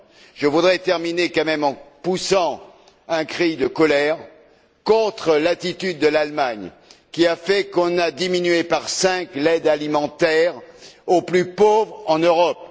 Je voudrais terminer malgré tout en poussant un cri de colère contre l'attitude de l'Allemagne, qui a fait qu'on a divisé par cinq l'aide alimentaire aux plus pauvres en Europe.